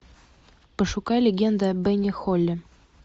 пошукай легенда о бене холле